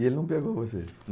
E ele não pegou vocês?